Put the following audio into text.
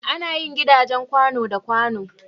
Ana yin gidajen kwàno da kwàno.